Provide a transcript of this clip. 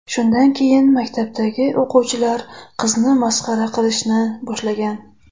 Shundan keyin maktabdagi o‘quvchilar qizni masxara qilishni boshlagan.